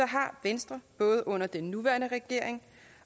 har venstre både under den nuværende regering